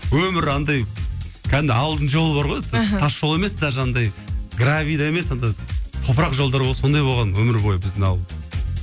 өмірі андай кәдімгі ауылдың жолы бар ғой мхм тас жол емес даже андай гравий де емес андай топырақ жолдар ғой сондай болған өмір бойы біздің ауыл